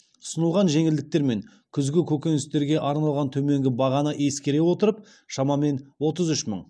ұсынылған жеңілдіктер мен күзгі көкөністерге арналған төменгі бағаны ескере отырып шамамен отыз үш мың